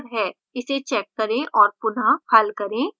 इस check करें और पुनः हल करें